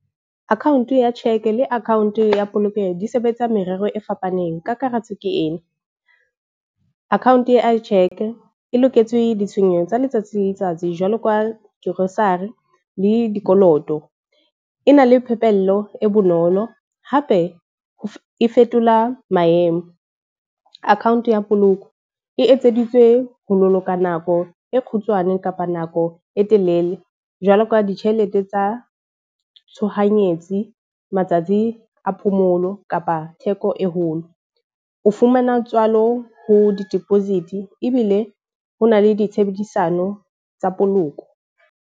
Account ya cheque le account ya polokeho di sebetsa merero e fapaneng. Kakaretso ke ena, account ya cheque e loketswe ditshenyeho tsa letsatsi le letsatsi jwalo ka grocery le dikoloto. E na le phepello e bonolo hape, e fetola maemo. Account ya poloko e etseditswe ho boloka nako e kgutshwane kapa nako e telele. Jwalo ka ditjhelete tsa tshohanyetsi, matsatsi a phomolo kapa theko e holo. O fumana tswalo ho di-deposit ebile ho na le ditshebedisano tsa poloko.